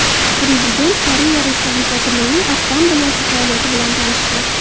Prezident Koreya Respublikasi Milliy Assambleyasi faoliyati bilan tanishdi.